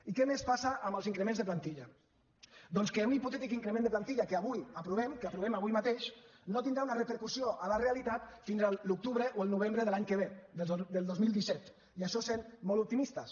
i què més passa amb els increments de plantilla doncs que un hipotètic increment de plantilla que avui aprovem que aprovem avui mateix no tindrà una repercussió a la realitat fins a l’octubre o el novembre de l’any que ve del dos mil disset i això sent molt optimistes